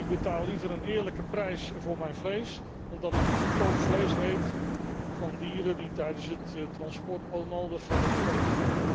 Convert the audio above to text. Ik betaal liever een eerlijke prijs voor mijn vlees dan dat ik goedkoop vlees eet van dieren die tijdens het transport onnodig hebben geleden.